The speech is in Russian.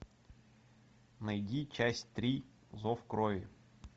найди часть три зов крови